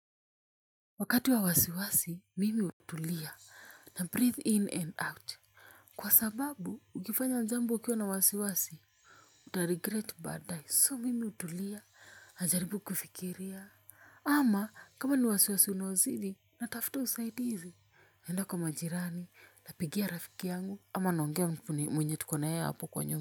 Wakati wa wasiwasi, mimi hutulia na breathe in and out. Kwa sababu, ukifanya jambo ukiwa na wasiwasi, uta regret badaye. So mimi hutulia, najaribu kufikiria. Ama, kama ni wasiwasi unaozidi, natafuta usaidizi. Naenda kwa majirani, napigia rafiki yangu, ama naongea mwenye tukona yeye hapo kwa nyumba.